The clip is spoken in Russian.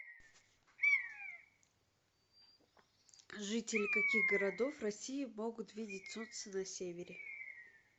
жители каких городов россии могут видеть солнце на севере